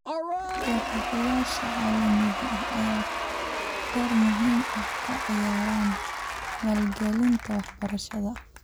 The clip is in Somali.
Deeq bixiyayaasha caalamiga ah ayaa door muhiim ah ka ciyaara maalgelinta waxbarashada .